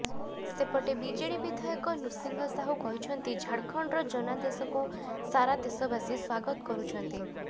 ସେପଟେ ବିଜେଡି ବିଧାୟକ ନୃସିଂହ ସାହୁ କହିଛନ୍ତି ଝାଡଖଣ୍ଡର ଜନାଦେଶକୁ ସାରା ଦେଶବାସୀ ସ୍ୱାଗତ କରୁଛନ୍ତି